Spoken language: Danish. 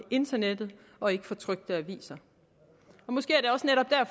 internettet og ikke fra trykte aviser måske